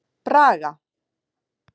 Braga